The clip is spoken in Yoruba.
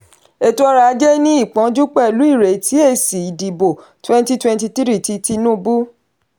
ètò ọrọ̀ ajé ní ìpọnjú pẹ̀lú ìretí èsì ìdìbò twenty twenty three ti tinubu.